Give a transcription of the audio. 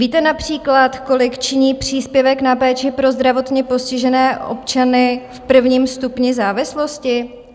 Víte například, kolik činí příspěvek na péči pro zdravotně postižené občany v prvním stupni závislosti?